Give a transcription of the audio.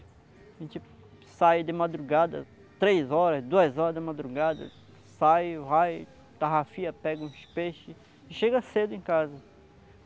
A gente sai de madrugada, três horas, duas horas de madrugada, sai, vai, tarrafia, pega uns peixes e chega cedo em casa.